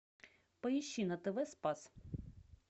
поищи на тв спас